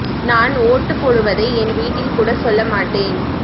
நான் ஓட்டு போடுவதை என் வீட்டில் கூட சொல்ல மாட்டேன்